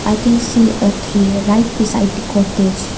we can see a tree right beside the cottage.